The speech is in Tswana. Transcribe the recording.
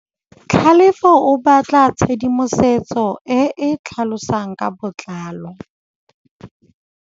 Tlhalefô o batla tshedimosetsô e e tlhalosang ka botlalô.